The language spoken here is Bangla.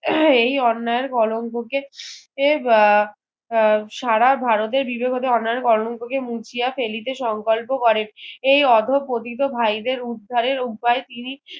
উম এই অন্যায়ের কলঙ্ক কে বা আহ সারা ভারতে বিবাহবাতে অন্যায়ের কলঙ্ক কে মুছিয়া ফেলিতে সংকল্প করেন এই আধো পতিত ভাইদের উদ্ধারের উপায় তিনি